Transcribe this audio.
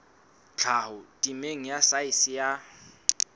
tlhaho temeng ya saense ya